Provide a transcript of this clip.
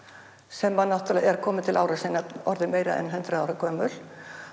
sem náttúrulega er komin til ára sinna orðin meira en hundrað ára gömul